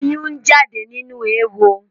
Ọyún ń jáde nínú éwo